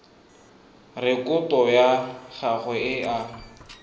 rekoto ya gagwe e a